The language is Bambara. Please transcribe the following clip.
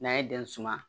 N'an ye den suma